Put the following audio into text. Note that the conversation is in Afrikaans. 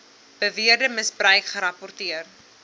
beweerde misbruik gerapporteer